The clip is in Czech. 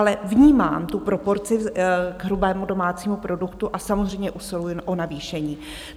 Ale vnímám tu proporci k hrubému domácímu produktu a samozřejmě usiluji o navýšení.